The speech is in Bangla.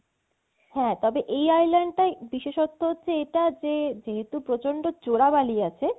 হ্যা তবে এই island টা বিশেষত্ব হচ্ছে এটা যে যেহেতু প্রচন্দ্র চোরা বালি আছে